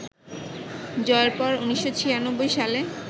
জয়ের পর ১৯৯৬ সালে